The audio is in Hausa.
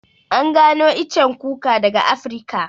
An gano iccen kuka daga Afrika